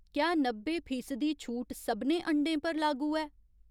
क्या नब्बे फीसदी छूट सभनें अंडें पर लागू ऐ ?